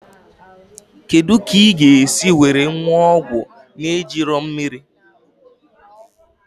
Kedụ kà ị ga esi were ṅụọ ọgwụ n'ejighi mmírí?